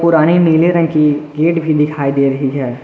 गाढ़े नीले रंग की गेट भी दिखाई दे रही है।